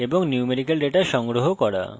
এবং numerical data কিভাবে সংগ্রহ করে